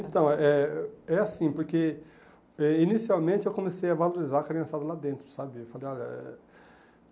Então é é, é assim, porque eh inicialmente eu comecei a valorizar a criançada lá dentro, sabe? Eu falei olha